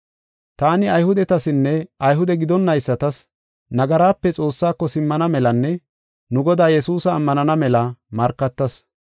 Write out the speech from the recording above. Taani Ayhudetasinne Ayhude gidonaysatas nagarape Xoossaako simmana melanne nu Godaa Yesuusa ammanana mela markatas.